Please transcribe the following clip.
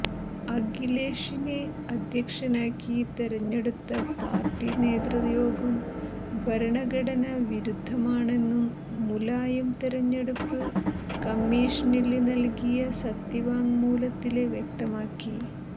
അഖിലേഷിനെ അധ്യക്ഷനാക്കി തെരഞ്ഞെടുത്ത പാര്ട്ടി നേതൃയോഗം ഭരണഘടനാ വിരുദ്ധമാണെന്നും മുലായം തെരഞ്ഞെടുപ്പ് കമ്മീഷനില് നല്കിയ സത്യവാങ്മൂലത്തില് വ്യക്തമാക്കി